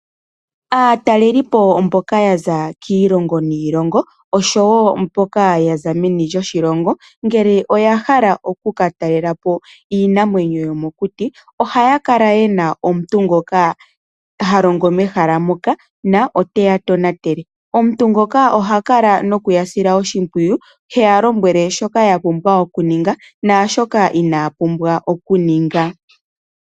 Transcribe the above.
Aatalelipo mboka ya za kiilongo niilongo oshowo mboka ya za meni loshilongo, ngele oya hala oku ka talelapo iinamwenyo yomokuti, ohaya kala ye na omuntu ngoka ha longo mehala moka na oteya tonatele. Omuntu ngoka oha kala nokuya sila oshimpwiyu, he ya lombwele shoka ya pumbwa okuninga naashoka inaya pumbwa okuninga.